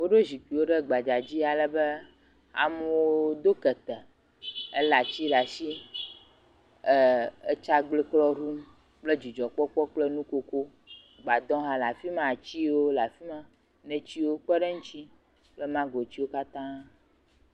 Woɖo zikpuiwo ɖe gbadzadzi, alebe amewo do kete, elé atiwo ɖe atsi, ee, atsagbekɔ ɖum, kple dzidzɔ kple nukoko, gbadɔ hã afi ma, atiwo le afi ma, netiwo kpe eŋuti, ɛna manotiwo katãa.